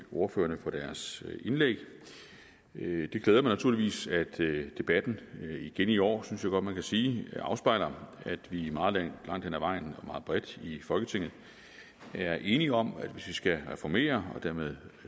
ordførerne for deres indlæg det glæder mig naturligvis at debatten igen i år synes jeg godt man kan sige afspejler at vi meget langt hen ad vejen og meget bredt i folketinget er enige om at hvis vi skal reformere og dermed